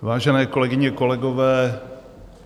Vážené kolegyně, kolegové.